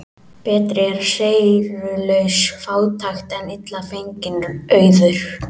Betri er seyrulaus fátækt en illa fenginn auður.